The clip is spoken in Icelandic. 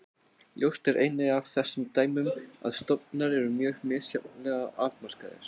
Ljóst er einnig af þessum dæmum að stofnar eru mjög misjafnlega afmarkaðir.